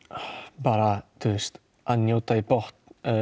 bara að njóta í botn